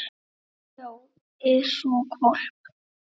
En. já, eða sko hvolp.